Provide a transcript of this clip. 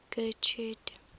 getrude